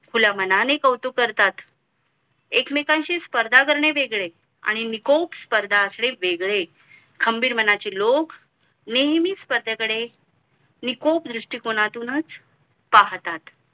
खुल्या मनाने कौतुक करतात एकमेकांशी स्पर्धा करणे वेगळे आणि निकोप स्पर्धा असणे वेगळे खंबीर मनाचे लोक नेहमी स्पर्धे कडे निकोप दृष्टी कोनातूनच पाहतात